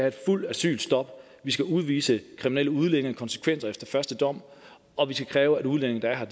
et fuldt asylstop vi skal udvise kriminelle udlændinge konsekvente efter første dom og vi skal kræve at udlændinge der er her